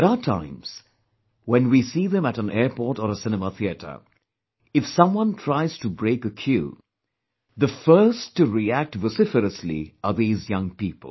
There are times when we see them at an airport or a cinema theatre; if someone tries to break a queue, the first to react vociferously are these young people